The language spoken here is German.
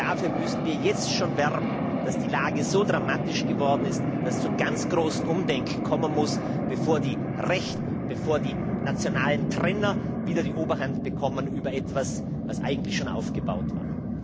Dafür müssten wir jetzt schon werben, dass die Lage so dramatisch geworden ist, dass es zum ganz großen Umdenken kommen muss, bevor die Rechten, bevor die nationalen Trenner wieder die Oberhand bekommen über etwas, was eigentlich schon aufgebaut war.